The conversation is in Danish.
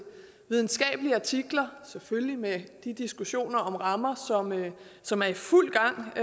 videnskabelige artikler selvfølgelig med de diskussioner om rammer som er i fuld gang på